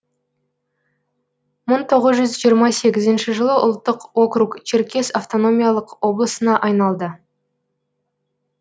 мың тоғыз жүз жиырма сегізінші жылы ұлттық округ черкес автономиялық облысына айналды